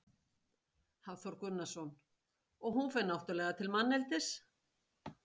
Hafþór Gunnarsson: Og hún fer náttúrulega til manneldis?